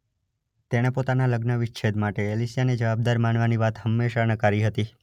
તેણે પોતાના લગ્ન વિચ્છેદ માટે એલિસિયાને જવાબદાર માનવાની વાત હંમેશા નકારી હતી.